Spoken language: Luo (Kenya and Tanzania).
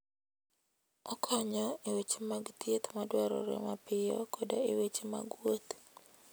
Okonyo e weche mag thieth madwarore mapiyo koda e weche mag wuoth.